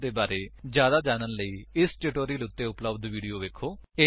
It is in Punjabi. ਸਪੋਕਨ ਟਿਊਟੋਰਿਅਲ ਪ੍ਰੋਜੇਕਟ ਦੇ ਬਾਰੇ ਵਿੱਚ ਜਿਆਦਾ ਜਾਣਨ ਲਈ ਇਸ ਉੱਤੇ ਉੱਤੇ ਉਪਲੱਬਧ ਵੀਡੀਓ ਵੇਖੋ